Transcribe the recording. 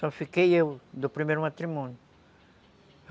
Só fiquei eu, do primeiro matrimônio.